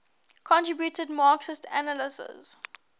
contributed marxist analyses